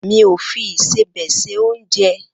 Mi o fi ìsẹbè se ounje.